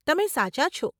તમે સાચા છો.